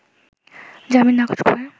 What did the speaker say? জামিন নাকচ করে